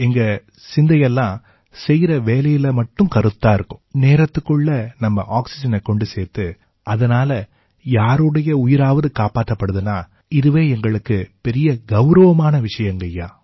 எங்க சிந்தை எல்லாம் செய்யற வேலையில மட்டுமே கருத்தா இருக்கும் நேரத்துக்குள்ள நம்ம ஆக்சிஜனைக் கொண்டு சேர்த்து அதனால யாருடைய உயிராவது காப்பாத்தப்படுதுன்னா இதுவே எங்களுக்குப் பெரிய கௌரவமான விஷயங்கய்யா